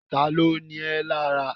Ta ló ni ẹ́ lára?